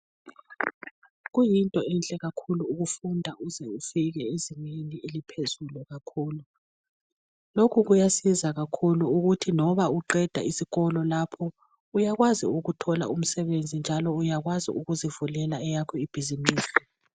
Kuyinto enhle kakhulu ukufunda uze ufike ezingeni eliphezulu kakhulu. Lokhu kuyasiza kakhulu ukuthi loba uqeda isikolo lapho uyakwazi ukuthola umsebenzi njalo uyakwazi ukuzivulela eyakho ibhizimusi.